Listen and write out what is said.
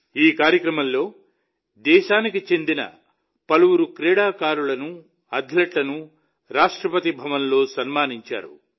ఈ కార్యక్రమంలో దేశానికి చెందిన పలువురు క్రీడాకారులను అథ్లెట్లను రాష్ట్రపతి భవన్లో సన్మానించారు